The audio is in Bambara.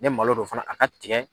Ni malo do fana a ka tigɛ.